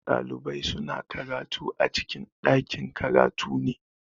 Ɗalibai suna karatu a cikin ɗakin-karatu ne.